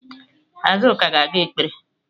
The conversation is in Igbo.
Azuka ga-aga ekpere